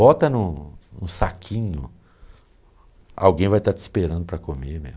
Bota em um em um saquinho, alguém vai estar te esperando para comer, meu.